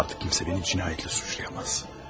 Artıq kimsə məni cinayətlə suçlaya bilməz.